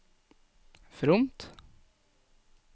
fromt